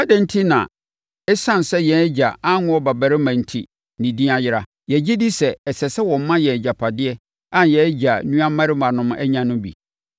Adɛn enti na ɛsiane sɛ yɛn agya anwo ɔbabarima enti ne din ayera? Yɛgye di sɛ, ɛsɛ sɛ wɔma yɛn agyapadeɛ a yɛn agya nuammarimanom anya no bi.”